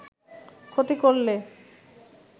ক্ষতি করলে